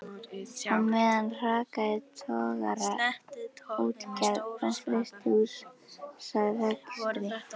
Á meðan hrakaði togaraútgerð og frystihúsarekstri.